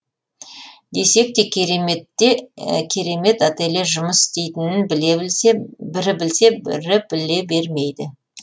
десек те кереметте керемет ателье жұмыс істейтінін бірі білсе бірі біле бермейді